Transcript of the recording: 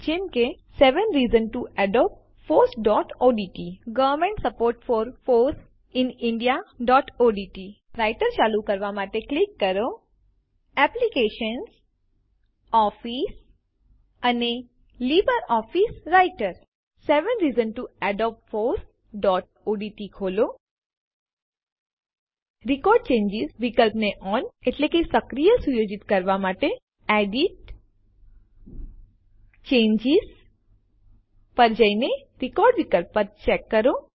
જેમ કે seven reasons to adopt fossઓડીટી government support for foss in indiaઓડીટી seven reasons to adopt fossઓડીટી ખોલો રેકોર્ડ ચેન્જીસ વિકલ્પને ઓન સક્રિય સુયોજિત કરવા માટે એડિટ → ચેન્જીસ પર જઈને રેકોર્ડ વિકલ્પને ચેક કરો